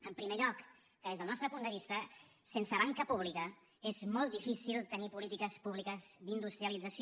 en primer lloc que des del nostre punt de vista sense banca pública és molt difícil tenir polítiques públiques d’industrialització